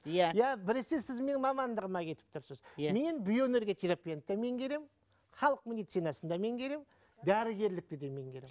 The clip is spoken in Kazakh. иә иә біресе сіз менің мамандығыма кетіп тұрсыз иә мен биоэнергия терапияны да меңгеремін халық медицинасын да меңгеремін дәрігерлікті де меңгеремін